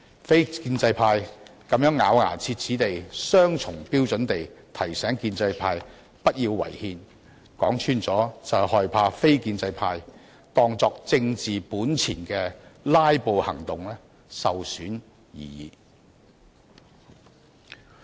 非建制派這樣咬牙切齒、雙重標準地提醒建制派不要違憲，說穿了是害怕非建制派當作為政治本錢的"拉布"行動受損而已。